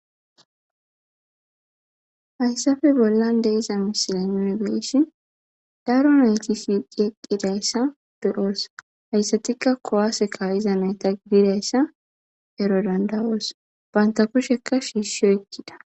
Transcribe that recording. Haysape bolan diza missilen nuni be'ishin daro nayti shiqi eqidaysa be'os haysatikka kuwase ka'za nayta gididaysa ero danda'os banta kusheka shishi oykida.